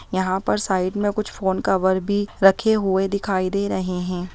यहाँ पर साइड में कुछ फोन कवर भी रख हुए दिखाई दे रहे हैं।